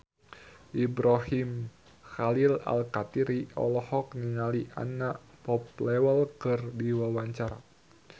Ibrahim Khalil Alkatiri olohok ningali Anna Popplewell keur diwawancara